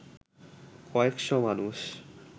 কয়েক’শ মানুষ